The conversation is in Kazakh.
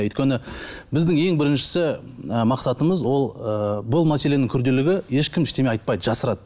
өйткені біздің ең біріншісі ы мақсатымыз ол ы бұл мәселенің күрделілігі ешкім ештеңе айтпайды жасырады